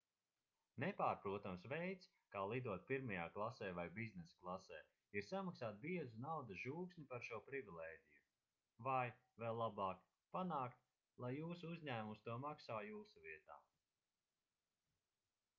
nepārprotams veids kā lidot pirmajā klasē vai biznesa klasē ir samaksāt biezu naudas žūksni par šo privilēģiju vai vēl labāk panākt lai jūsu uzņēmums to maksā jūsu vietā